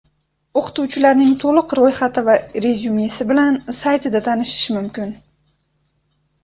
O‘qituvchilarning to‘liq ro‘yxati va rezyumesi bilan saytida tanishish mumkin.